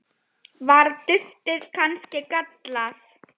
Var duftið kannski gallað?